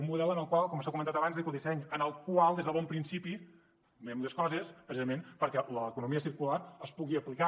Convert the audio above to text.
un model com s’ha comentat abans d’ecodisseny en el qual des de bon principi mirem les coses precisament perquè l’economia circular es pugui aplicar